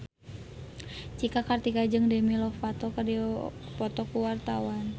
Cika Kartika jeung Demi Lovato keur dipoto ku wartawan